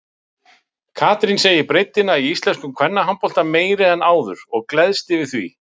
Katrín segir breiddina í íslenskum kvennabolta meiri en áður og gleðst yfir því.